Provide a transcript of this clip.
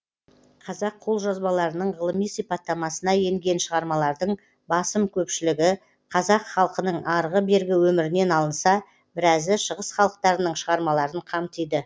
қазақ қолжазбаларының ғылыми сипаттамасына енген шығармалардың басым көпшілігі қазақ халқының арғы бергі өмірінен алынса біразы шығыс халықтарының шығармаларын қамтиды